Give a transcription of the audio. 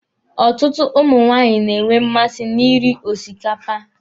Ọtụtụ ụmụ nwaanyị na-enwe mmasị na ị rị osikapa.